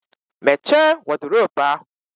Mmeche wọdiropu ahu